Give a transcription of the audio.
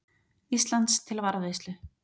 Íslands til varðveislu.